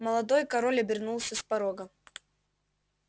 молодой король обернулся с порога